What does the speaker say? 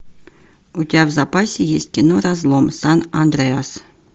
у тебя в запасе есть кино разлом сан андреас